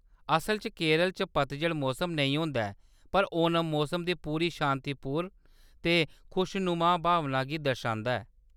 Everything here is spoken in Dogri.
असल च, केरल च पतझड़ मोसम नेईं होंदा ऐ, पर ओणम मोसम दी पूरी शांतिपूर्ण ते खुशनमाऽ भावना गी दर्शांदा ऐ।